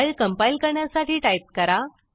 file compile करण्यासाठी type करा